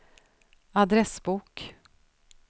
adressbok